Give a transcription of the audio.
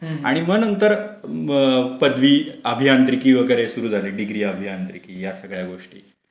आणि मग नंतर पदवी, अभियांत्रिकी वगैरे सगळे सुरू झाले. डिग्री आणि अभियांत्रिकी या सगळ्या गोष्टी.